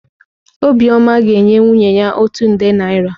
Obiọma ga-enye nwunye ya otu nde naịra.